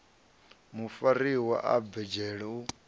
mufariwa a bve dzhele u